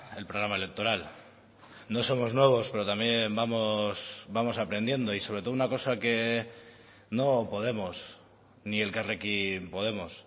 el programa electoral no somos nuevos pero también vamos aprendiendo y sobre todo una cosa que no podemos ni elkarrekin podemos